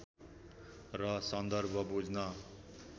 र सन्दर्भ बुझ्न